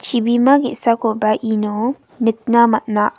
chibima ge·sakoba ino nikna man·a.